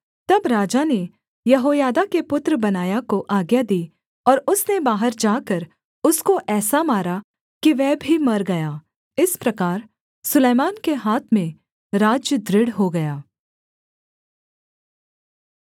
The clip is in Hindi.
तब राजा ने यहोयादा के पुत्र बनायाह को आज्ञा दी और उसने बाहर जाकर उसको ऐसा मारा कि वह भी मर गया इस प्रकार सुलैमान के हाथ में राज्य दृढ़ हो गया